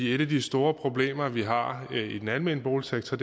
et af de store problemer vi har i den almene boligsektor